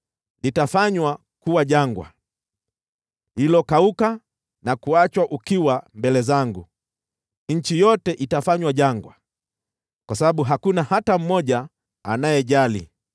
Litafanywa kuwa jangwa, lililokauka na kuachwa ukiwa mbele zangu; nchi yote itafanywa jangwa kwa sababu hakuna hata mmoja anayejali.